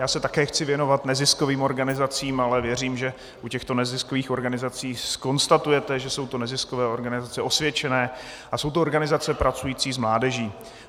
Já se taky chci věnovat neziskovým organizacím, ale věřím, že u těchto neziskových organizací zkonstatujete, že jsou to neziskové organizace osvědčené a jsou to organizace pracující s mládeží.